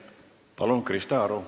Palun, Krista Aru!